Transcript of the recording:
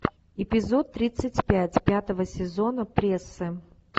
эпизод тридцать пять пятого сезона прессы